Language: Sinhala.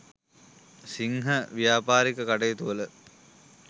සිංහ ව්‍යාපාරික කටයුතුවල